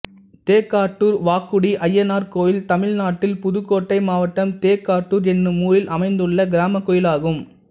தேக்காட்டூர் வாக்குடி அய்யனார் கோயில் தமிழ்நாட்டில் புதுக்கோட்டை மாவட்டம் தேக்காட்டூர் என்னும் ஊரில் அமைந்துள்ள கிராமக் கோயிலாகும்